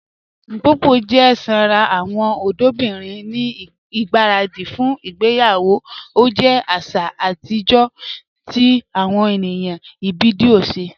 Mpopo jẹ sànra awọn ọdọbirin ni igbaradi fún ìgbèyawo, o jẹ àṣà atijọ̀ ti awọn ènìyàn Ibibio ṣẹ.